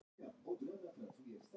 Sendiherrann kallaður á fund